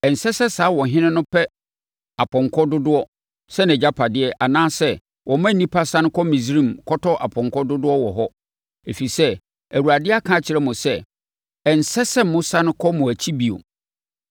Ɛnsɛ sɛ saa ɔhene no pɛ apɔnkɔ dodoɔ sɛ nʼagyapadeɛ anaasɛ ɔma nnipa sane kɔ Misraim kɔtɔ apɔnkɔ dodoɔ wɔ hɔ, ɛfiri sɛ, Awurade aka akyerɛ mo sɛ. “Ɛnsɛ sɛ mosane kɔ mo akyi bio.”